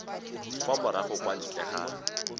kwa morago kwa ntle ga